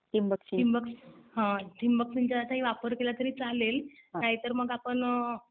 ठिबक सिंचनाचाही वापर केला तरी चालेल. नाहीतर मग आपण